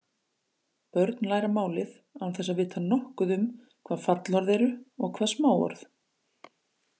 Börn læra málið án þess að vita nokkuð um hvað fallorð eru og hvað smáorð.